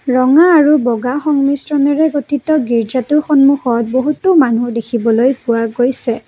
ৰঙা আৰু বগা সংমিশ্ৰণেৰে গঠিত গীৰ্জাটোৰ সন্মুখত বহুতো মানুহ দেখিবলৈ পোৱা গৈছে।